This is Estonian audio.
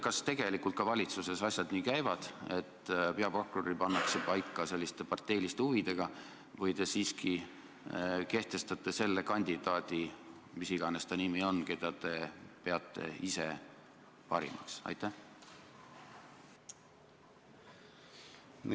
Kas tegelikult käivadki valitsuses asjad nii, et peaprokurör pannakse paika parteiliste huvide alusel, või te siiski panete kohale selle kandidaadi – mis iganes ta nimi on –, keda te ise parimaks peate?